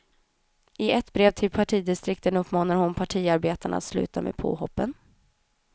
I ett brev till partidistrikten uppmanar hon partiarbetarna att sluta med påhoppen.